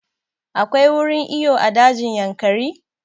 Akwai wurin iyo a dajin Yankari?